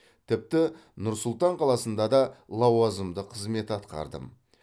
тіпті нұр сұлтан қаласында да лауазымды қызмет атқардым